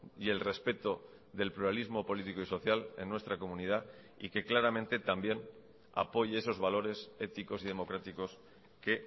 y el respeto del pluralismo político y social en nuestra comunidad y que claramente también apoye esos valores éticos y democráticos que